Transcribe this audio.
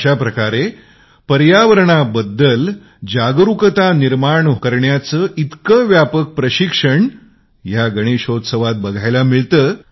एका प्रकारे पर्यावरण जागरुकतेचे इतके व्यापक प्रशिक्षण या गणशोत्सावात बघायला मिळतात